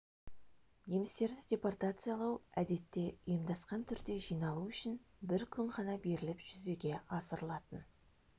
немістерді депортациялау әдетте ұйымдасқан түрде жиналу үшін бір күн ғана беріліп жүзеге асырылатын